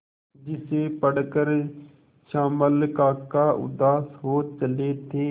जिसे पढ़कर श्यामल काका उदास हो चले थे